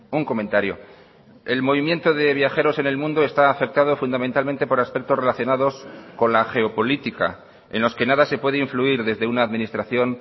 un comentario el movimiento de viajeros en el mundo está afectado fundamentalmente por aspectos relacionados con la geopolítica en los que nada se puede influir desde una administración